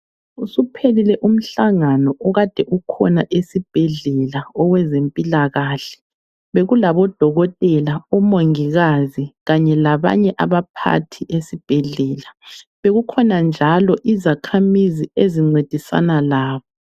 Usuphelile umhlangano okade ukhona esibhedlela owezempilakahle. Bekulabodokotela, omongikazi kanye labanye abaphathi esibhedlela. Bekukhona njalo izakhamizi ezincedisana labo.